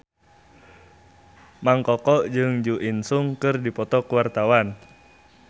Mang Koko jeung Jo In Sung keur dipoto ku wartawan